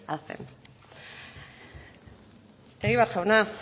hacen egibar jauna